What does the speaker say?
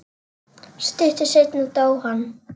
Stuttu seinna dó hann.